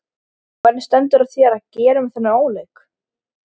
Hvernig stendur á þér að gera mér þennan óleik?